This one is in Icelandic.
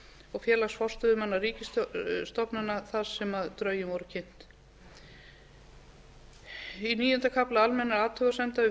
og félags forstöðumanna ríkisstofnana þar sem drögin voru kynnt í níunda kafla almennra athugasemda við